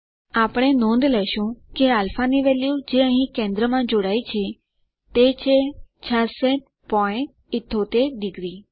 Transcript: આપણે નોંધ લેશું કે α ની વેલ્યુ જે અંહિ કેન્દ્રમાં જોડાયી છે તે છે 6678 ડિગ્રી